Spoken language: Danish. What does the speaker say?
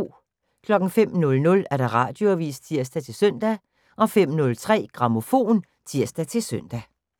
05:00: Radioavis (tir-søn) 05:03: Grammofon (tir-søn)